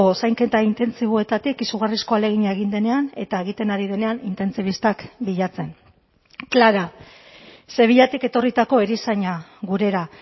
zainketa intentsiboetatik izugarrizko ahalegina egin denean eta egiten ari denean intentsibistak bilatzen clara sevillatik etorritako erizaina gurera